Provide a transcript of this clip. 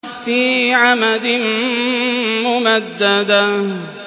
فِي عَمَدٍ مُّمَدَّدَةٍ